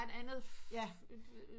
Et andet